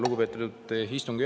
Lugupeetud istungi juhataja!